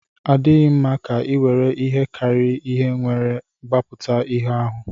Ọ dịghị mma ka e were ihe karịrị ihe were gbapụta ihe ahụ.